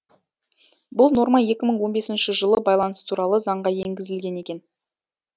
бұл норма екі мың он бесінші жылы байланыс туралы заңға енгізілген екен